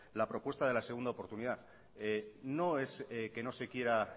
la propuesta de la segunda oportunidad no es que no se quiera